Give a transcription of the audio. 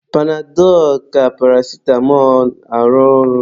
Panadọlụ ka paracitamọ arụ ọrụ.